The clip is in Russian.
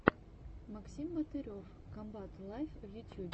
максим батырев комбат лайв в ютьюбе